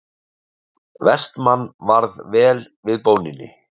Vestmann varð vel við bóninni.